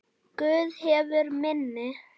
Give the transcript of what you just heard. Guð hefur minni.